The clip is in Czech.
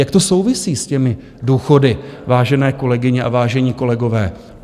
Jak to souvisí s těmi důchody, vážené kolegyně a vážení kolegové?